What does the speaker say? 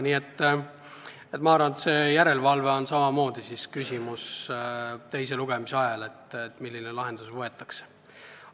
Nii et minu arvates järelevalve on küsimus ka teise lugemise ajal – milline lahendus valitakse.